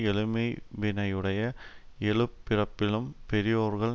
எழுமையினையுடைய எழுபிறப்பிலும் பெரியோர்கள்